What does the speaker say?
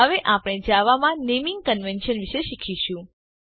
હવે આપણે જાવામાં નેમીંગ કન્વેન્શન વિષે શીખીશું